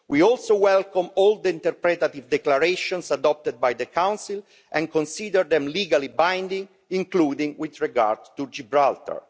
We also welcome all the interpretative declarations adopted by the Council and consider them legally binding, including with regard to Gibraltar.